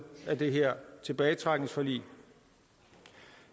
af det her tilbagetrækningsforlig